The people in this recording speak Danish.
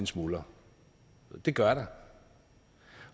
smuldrer det gør der